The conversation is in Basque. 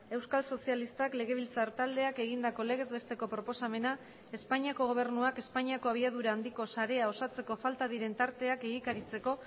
euskal sozialistak legebiltzar taldeak egindako legez besteko proposamena espainiako gobernuak espainiako abiadura handiko sarea osatzeko falta diren tarteak egikaritzeko